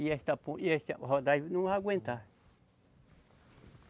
E essa pon, e essa rodagem não vai aguentar.